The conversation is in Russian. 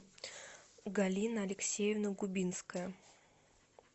галина алексеевна губинская